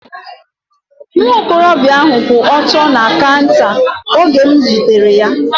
Nwa okorobịa ahu kwụ ọtọ na kaunta oge m zutere ya